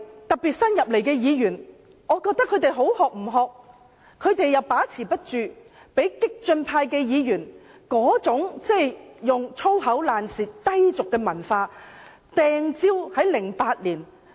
特別是新進的立法會議員，他們好的不學，又把持不住，被激進派議員那種"粗口爛舌"、低俗文化感染。